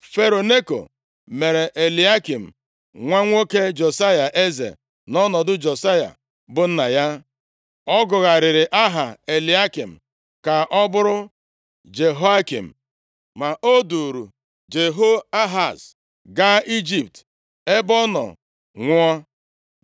Fero Neko mere Eliakịm nwa nwoke Josaya, eze, nʼọnọdụ Josaya bụ nna ya. Ọ gụgharịrị aha Eliakịm ka ọ bụrụ Jehoiakim. Ma o duuru Jehoahaz gaa Ijipt, ebe ọ nọ nwụọ.